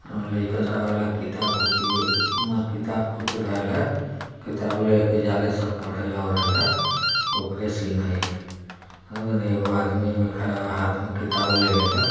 हार सावर को किताब को किरला किताब को लेके जा रहा है उसका सिन है एक आदमी खड़ा है हाथ में किताबो लेलेवा